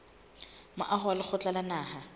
moaho wa lekgotla la naha